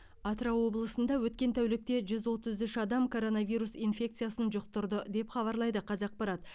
атырау облысында өткен тәулікте жүз отыз үш адам коронавирус инфекциясын жұқтырды деп хабарлайды қазақпарат